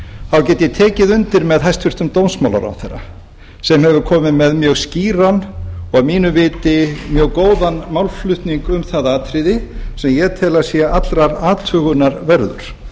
get ég tekið undir með hæstvirtur dómsmálaráðherra sem hefur komið með mjög skýran og að mínu viti mjög góðan málflutning um það atriði sem ég tel að sé allrar athugunar verður